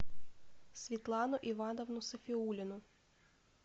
светлану ивановну сафиуллину